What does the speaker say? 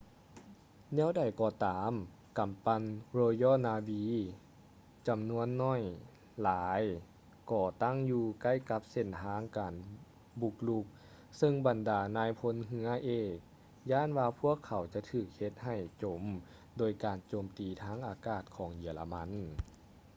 ແນວໃດກໍຕາມກຳປັ່ນ royal navy ຈຳນວນໜ້ອຍຫຼາຍກໍຕັ້ງຢູ່ໃກ້ກັບເສັ້ນທາງການບຸກລຸກ ເຊິ່ງບັນດານາຍພົນເຮືອເອກຢ້ານວ່າພວກເຂົາຈະຖືກເຮັດໃຫ້ຈົມໂດຍການໂຈມຕີທາງອາກາດຂອງເຢຍລະມັນ